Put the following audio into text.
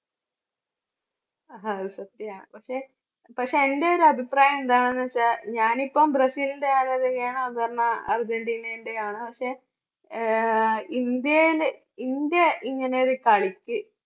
സത്യമാ പക്ഷേ പക്ഷേ എൻറെ ഒരു അഭിപ്രായം എന്താണെന്ന് വെച്ചാൽ ഞാൻ ഇപ്പം ബ്രസീലിൻറെ ആരാധികയാണ് അപർണ അർജൻന്റിനെന്റെയാണ് പക്ഷേ ആഹ് ഇന്ത്യയില് ഇന്ത്യ ഇങ്ങനെ ഒരു കളിക്ക്